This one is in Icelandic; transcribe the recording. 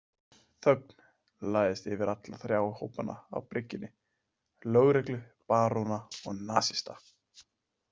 Þögn lagðist yfir alla þrjá hópana á bryggjunni, lögreglu, baróna og nasista.